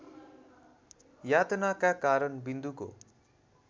यातनाका कारण विन्दुको